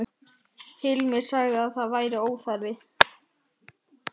Það var ég sem bauð þig velkomna í heiminn.